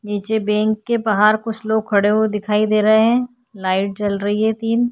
नीचे बँक के बाहर कुछ लोग खड़े हुवे दिखाई दे रहे हैं। लाइट जल रही है तीन।